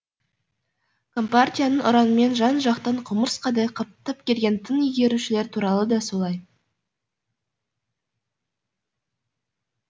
компартияның ұранымен жан жақтан құмырсқадай қаптап келген тың игерушілер туралы да солай